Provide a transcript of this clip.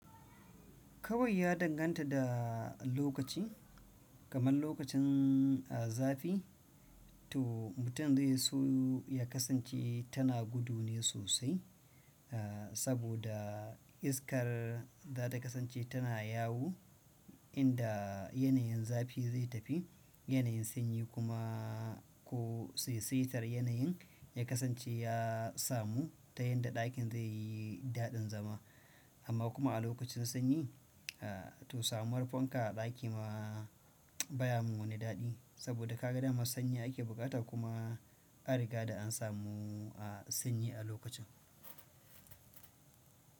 Kawai ya danganta da lokaci, kamar lokacin, ah, zafi to mutum zai so ya kasance tana gudu ne sosai, ah, saboda iskar zata kasance tana yawo inda yanayin zafi zai tafi, yanayin sanyi kuma ko saisaitar yanayin ya kasance ya samu ta yadda ɗakin zai yi daɗin zama. Amma kuma a lokacin sanyi, ah, to samuwar fanka a ɗaki ma baya mun wani daɗi saboda kaga dama sanyi ake bukata kuma an riga da an samu, ah, sanyi a lokacin.